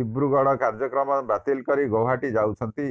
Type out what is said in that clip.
ଦିବ୍ରୁଗଡ କାର୍ଯ୍ୟକ୍ରମ ବାତିଲ କରି ଗୌହାଟୀ ଯାଉଛନ୍ତି